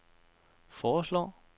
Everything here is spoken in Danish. foreslår